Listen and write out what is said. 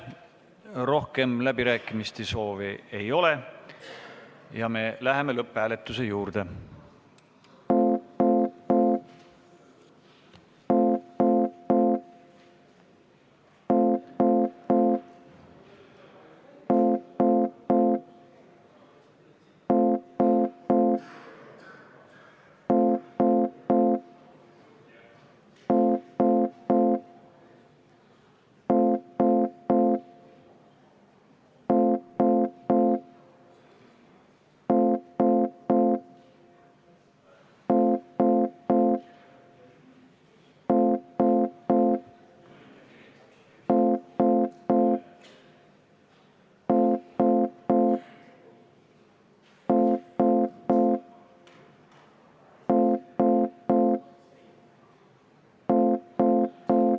Rohkem läbirääkimiste soove ei ole ja me läheme lõpphääletuse juurde.